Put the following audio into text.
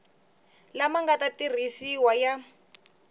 lama nga ta tirhisiwa ya